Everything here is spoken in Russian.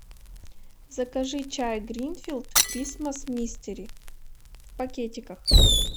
закажи чай гринфилд кристмас мистери в пакетиках